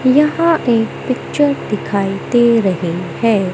यहां एक पिक्चर दिखाई दे रहे है।